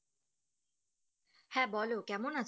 হ্যাঁ বলো কেমন আছো